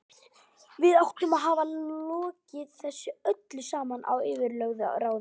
Við áttum að hafa logið þessu öllu saman að yfirlögðu ráði.